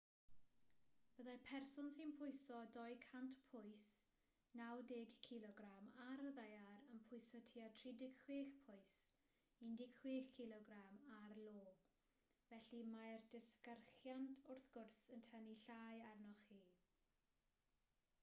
byddai person sy'n pwyso 200 pwys 90kg ar y ddaear yn pwyso tua 36 pwys 16kg ar io. felly mae'r disgyrchiant wrth gwrs yn tynnu llai arnoch chi